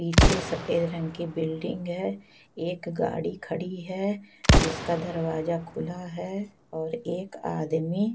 पीछे सफेद रंग की बिल्डिंग है एक गाड़ी खड़ी है जिसका दरवाजा खुला है और एक आदमी--